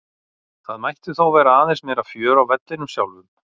Það mætti þó vera aðeins meira fjör á vellinum sjálfum.